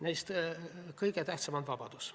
Neist kõige tähtsam on vabadus.